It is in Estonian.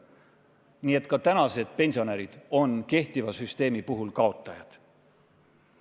Nii et ka tänased pensionärid on kehtiva süsteemi puhul kaotajad.